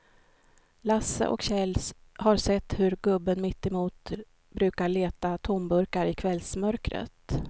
Lasse och Kjell har sett hur gubben mittemot brukar leta tomburkar i kvällsmörkret.